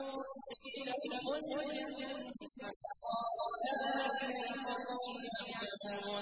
قِيلَ ادْخُلِ الْجَنَّةَ ۖ قَالَ يَا لَيْتَ قَوْمِي يَعْلَمُونَ